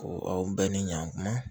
n bɛɛ ni ɲan kuma